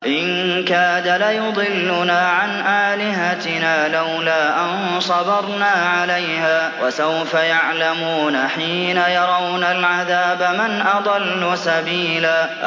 إِن كَادَ لَيُضِلُّنَا عَنْ آلِهَتِنَا لَوْلَا أَن صَبَرْنَا عَلَيْهَا ۚ وَسَوْفَ يَعْلَمُونَ حِينَ يَرَوْنَ الْعَذَابَ مَنْ أَضَلُّ سَبِيلًا